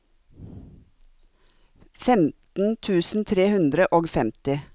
femten tusen tre hundre og femti